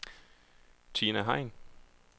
Tina Hein